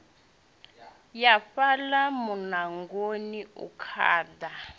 ya fhaḽa muṋangoni u khaḓa